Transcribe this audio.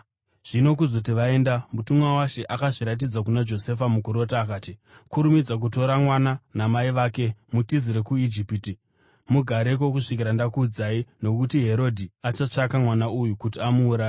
Zvino kuzoti vaenda, mutumwa waShe akazviratidza kuna Josefa mukurota, akati, “Kurumidza kutora mwana namai vake mutizire kuIjipiti. Mugareko kusvikira ndakuudzai, nokuti Herodhi achatsvaka mwana uyu kuti amuuraye.”